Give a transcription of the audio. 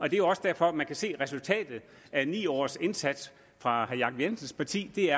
jo også derfor man kan se at resultatet af ni års indsats fra herre jacob jensens parti er